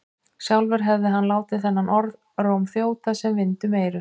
Sjálfur hefði hann látið þennan orðróm þjóta sem vind um eyru.